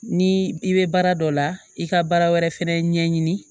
Ni i bɛ baara dɔ la i ka baara wɛrɛ fɛnɛ ɲɛɲini